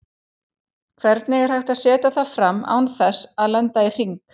Hvernig er hægt að setja það fram án þess að lenda í hring?